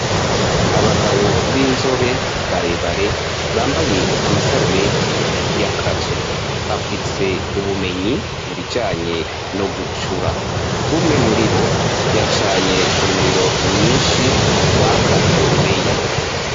Abagabo b'inzobe barebare, bambaye amasarubeti y'akazi, bafise ubumenyi mu bijanye no gucura, umwe muri bo, yacanye umuriro mwinshi, waka urubeya.